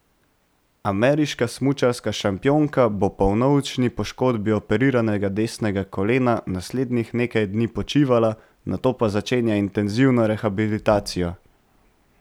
Ameriška smučarska šampionka bo po vnovični poškodbi operiranega desnega kolena naslednjih nekaj dni počivala, nato pa začenja intenzivno rehabilitacijo.